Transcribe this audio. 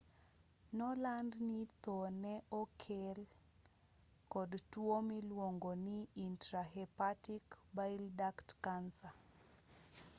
noland ni tho nee nokel kod tuo miluongo ni intrahepatic bile duct cancer